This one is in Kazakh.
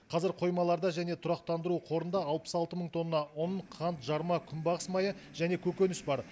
қазір қоймаларда және тұрақтандыру қорында алпыс алты мың тонна ұн қант жарма күнбағыс майы және көкөніс бар